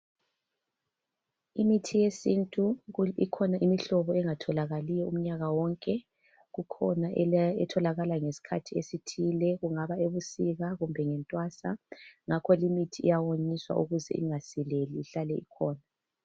Imithi yesintu ikhona imihlobo engatholakaliyo umnyaka wonke, kukhona etholakala ngesikhathi esithile, kungaba ebusika kumbe entwasa. Ngakho imithi iyawonyiswa ukuze ingasileli ihlale ikhona.